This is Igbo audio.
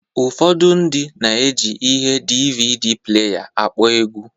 Ụfọdụ ndị na-eji ihe DvD pleya akpọ egwu